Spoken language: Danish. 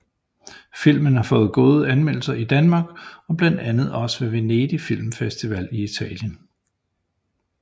Filmen har fået gode anmeldelser i Danmark og blandt andet også ved Venedig Film Festival i Italien